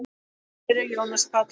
Þinn vinur, Jónas Páll.